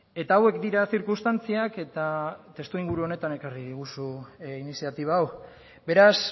eta hauek dira zirkunstantziak eta testu inguru honetan ekarri diguzu iniziatiba hau beraz